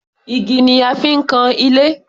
Igi ni a fi ń kan ilé.